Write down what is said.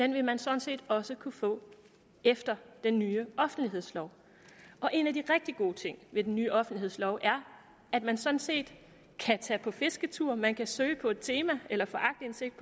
vil man sådan set også kunne få efter den nye offentlighedslov en af de rigtig gode ting ved den nye offentlighedslov er at man sådan set kan tage på fisketur man kan søge på et tema eller få aktindsigt